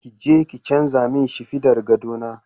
Kije ki canza min shinfiɗar gado na.